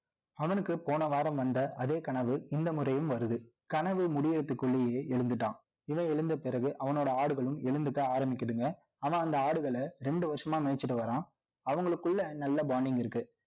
அவனுக்கு போன வாரம் வந்த அதே கனவு இந்த முறையும் வருது. கனவு முடியிறதுக்குள்ளேயே எழுந்துட்டான். இவன் எழுந்த பிறகு, அவனோட ஆடுகளும் எழுந்துக்க ஆரம்பிக்குதுங்க. ஆனால், அந்த ஆடுகளை, இரண்டு வருஷமா மேய்ச்சிட்டு வர்றான். அவங்களுக்குள்ள நல்ல bonding இருக்கு